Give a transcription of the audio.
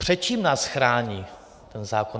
Před čím nás chrání ten zákon?